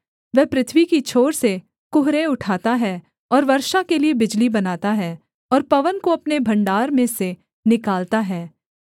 वह पृथ्वी की छोर से कुहरे उठाता है और वर्षा के लिये बिजली बनाता है और पवन को अपने भण्डार में से निकालता है